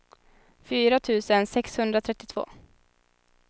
fyra tusen sexhundratrettiotvå